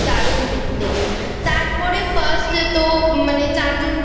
দারুণ দেখতে। তারপরে First এ তো মানে চারজন